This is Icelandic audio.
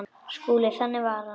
SKÚLI: Þannig var hann.